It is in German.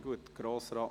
– Das ist der Fall.